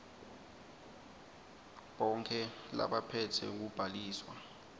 bonkhe labaphetse kubhaliswa